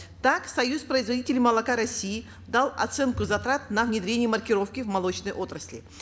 так союз производителей молока россии дал оценку затрат на внедрение маркировки в молочной отрасли